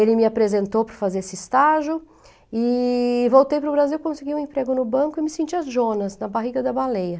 Ele me apresentou para fazer esse estágio e voltei para o Brasil, consegui um emprego no banco e me senti a Jonas, na barriga da baleia.